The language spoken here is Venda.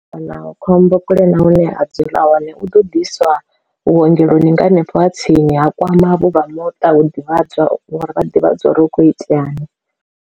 Kana khombo kule na hune ha dzula hone hu ḓo ḓiswa vhuongeloni nga hanefho ha tsini ha kwama vhu vha muṱa vhu ḓivhadzwa uri vha ḓivhadza uri hu kho itea ni.